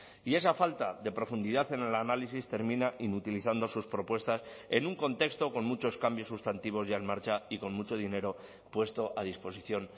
y esa falta de profundidad en el análisis termina inutilizando sus propuestas en un contexto con muchos cambios sustantivos ya en marcha y con mucho dinero puesto a disposición